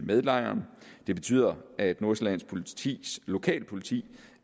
med lejren det betyder at nordsjællands politis lokalpoliti